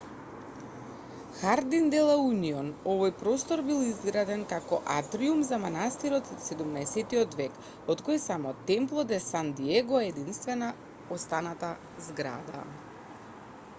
хардин де ла унион овој простор бил изграден како атриум за манастирот од 17-тиот век од кој само темпло де сан диего е единствена останата зграда